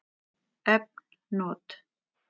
Efn not